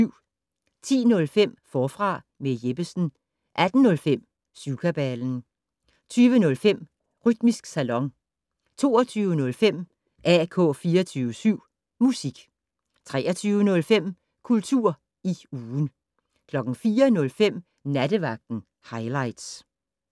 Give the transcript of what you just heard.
10:05: Forfra med Jeppesen 18:05: Syvkabalen 20:05: Rytmisk Salon 22:05: AK 24syv Musik 23:05: Kultur i ugen 04:05: Nattevagten Highligts